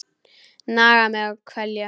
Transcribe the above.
Naga mig og kvelja.